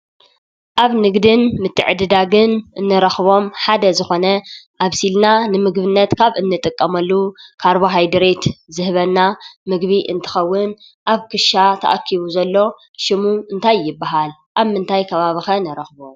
ኣብ ንግድን ምትዕድዳግን እንረኽቦም ሓደ ዝኾነ ኣብሲልና ንምግብነት ካብ እንጥቀመሉ ካርቦሃይድሬት ዝህበና ምግቢ እንትኸውን ኣብ ክሻ ተኣኪቡ ዘሎ ሽሙ እንታይ ይበሃል? ኣብ ምንታይ ከባቢ ኸ ንረኽቦ?